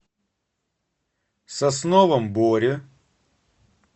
сосновом боре